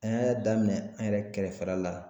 An y'a daminɛ ne yɛrɛ kɛrɛfɛla la.